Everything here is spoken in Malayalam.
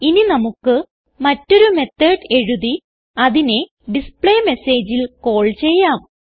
ഇനി നമുക്ക് മറ്റൊരു മെത്തോട് എഴുതി അതിനെ ഡിസ്പ്ലേ Messageൽ കാൾ ചെയ്യാം